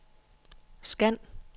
scan